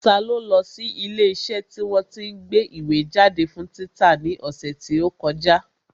Ta ló lọ sí ilé iṣẹ́ tí wọ́n tí ń gbé ìwé jáde fún títa ní ọ̀sẹ̀ tí ó kọjá?